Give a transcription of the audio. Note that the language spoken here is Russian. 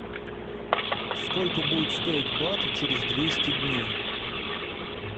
сколько будет стоить бат через двести дней